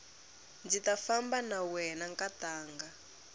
ndzi ta famba na wena nkatanga